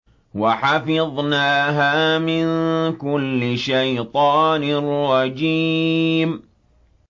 وَحَفِظْنَاهَا مِن كُلِّ شَيْطَانٍ رَّجِيمٍ